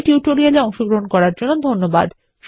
এই টিউটোরিয়াল এ অংশগ্রহন করার জন্য ধন্যবাদ